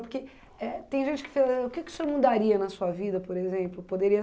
Porque eh tem gente que fala, o que que o senhor mudaria na sua vida, por exemplo? Poderia